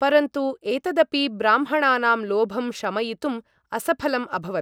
परन्तु एतदपि ब्राह्मणानां लोभं शमयितुम् असफलम् अभवत्।